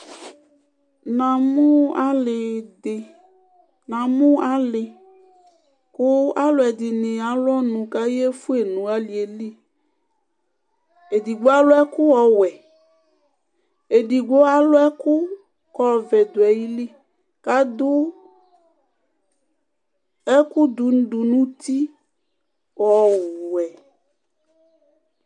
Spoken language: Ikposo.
Na mu alɩ ɖɩ, na mu alɩ ku alu ɛɖɩnɩ alu ɔnu ka yefuẹ nu aliẹ li Eɖɩgbo alu ɛku ɔwɛ, ẹɖɩgbo alu ɛku ku ku ɔvɛ ɖu ayɩlɩ, aɖu ɛku ɖu ɖu nu uti ɔɔwɛ